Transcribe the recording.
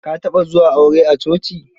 Ka taɓa zuwa aure a coci?